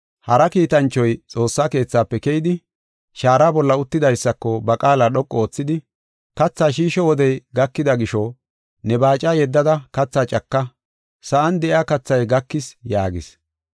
Hara kiitanchoy Xoossa keethafe keyidi, shaara bolla uttidaysako ba qaala dhoqu oothidi, “Kathaa shiisho wodey gakida gisho ne baaca yeddada kathaa caka; sa7an de7iya kathay gakis” yaagis.